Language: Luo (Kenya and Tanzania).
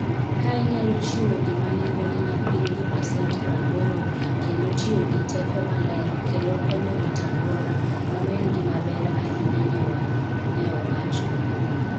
Ka inyalo chiwo gima nengone ni piny gi pasent 80, kendo tiyo gi teko maler, kendo konyo rito alwora, mano en gima ber ahinya ne wan, ne owacho.